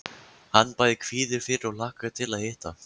Hann bæði kvíðir fyrir og hlakkar til að hitta